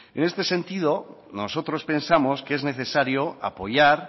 en este sentido nosotros pensamos que es necesario apoyar